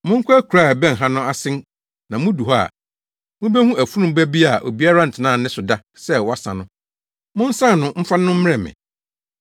“Monkɔ akuraa a ɛbɛn ha no ase na mudu hɔ a, mubehu afurum ba bi a obiara ntenaa ne so da sɛ wɔasa no. Monsan no mfa no mmrɛ me.